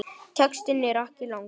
Textinn er ekki langur.